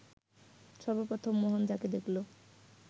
সর্বপ্রথম মোহন যাঁকে দেখল